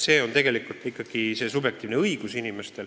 See on ikkagi inimeste subjektiivne õigus.